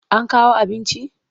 An kawo abinci?